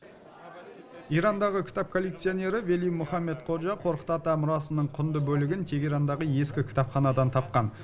ирандағы кітап коллекционері вели мухаммед ходжа қорқыт ата мұрасының құнды бөлігін тегерандағы ескі кітапханадан тапқан